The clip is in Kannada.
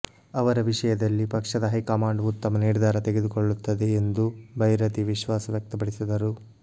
ಅವರ ವಿಷಯದಲ್ಲಿ ಪಕ್ಷದ ಹೈಕಮಾಂಡ್ ಉತ್ತಮ ನಿರ್ಧಾರ ತೆಗೆದುಕೊಳ್ಳುತ್ತದೆ ಎಂದು ಭೈರತಿ ವಿಶ್ವಾಸ ವ್ಯಕ್ತಪಡಿಸಿದರು